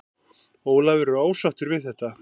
Ólafur er ósáttur við þetta.